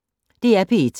DR P1